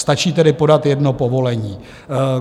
Stačí tedy podat jedno povolení.